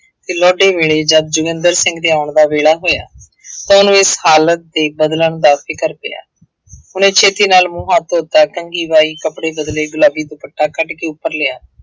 ਵੇਲੇ ਜਦ ਜੋਗਿੰਦਰ ਸਿੰਘ ਦੇ ਆਉਣ ਦਾ ਵੇਲਾ ਹੋਇਆ ਤਾਂ ਉਹਨੂੰ ਇਸ ਹਾਲਤ ਦੇ ਬਦਲਣ ਦਾ ਫ਼ਿਕਰ ਪਿਆ ਉਹਨੇ ਛੇਤੀ ਨਾਲ ਮੂੰਹ ਹੱਥ ਧੋਤਾ, ਕੰਘੀ ਵਾਹੀ, ਕੱਪੜੇ ਬਦਲੇ, ਗੁਲਾਬੀ ਦੁਪੱਟਾ ਕੱਢ ਕੇ ਉੱਪਰ ਲਿਆ।